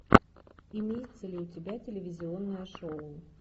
имеется ли у тебя телевизионное шоу